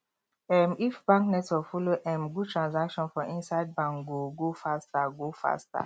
um if bank network follow um good transaction for inside bank go go faster go faster